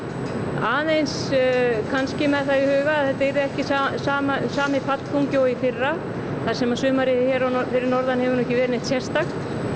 aðeins kannski með það í huga að þetta yrði ekki sami sami fallþungi og í fyrra þar sem sumarið hérna fyrir norðan hefur nú ekki verið neitt sérstakt